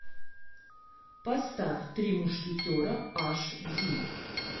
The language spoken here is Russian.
поставь три мушкетера аш ди